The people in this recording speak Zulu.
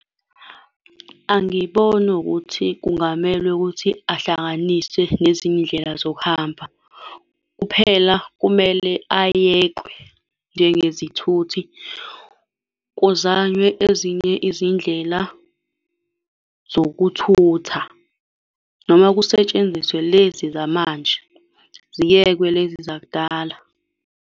Angiboni ukuthi kungamelwe ukuthi ahlanganiswe nezinye iy'ndlela zokuhamba. Kuphela kumele ayekwe njengezithuthi. Kuzanywe ezinye izindlela zokuthutha, noma kusetshenziswe lezi zamanje. Ziyekwe lezi zakudala.